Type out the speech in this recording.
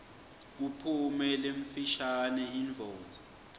kuphume lemfishane indvodza